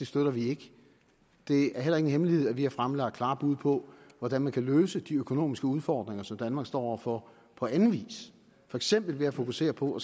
støtter det det er heller ingen hemmelighed at vi har fremlagt klare bud på hvordan man kan løse de økonomiske udfordringer som danmark står over for på anden vis for eksempel ved at fokusere på